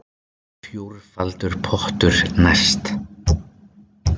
Fjórfaldur pottur næst